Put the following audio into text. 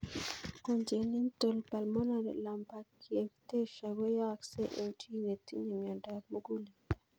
Congenital pulmonary lymphangiectasia koyaakse eng' chii ne tinye miondop mug'uleldo